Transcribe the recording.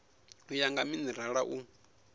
u ya nga minerala u